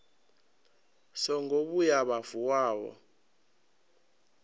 songo vhuya vha vuwa vho